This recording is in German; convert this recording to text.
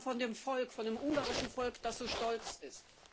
Sie sprachen von dem Volk von dem ungarischen Volk, das so stolz ist.